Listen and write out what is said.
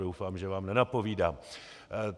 Doufám, že vám nenapovídám.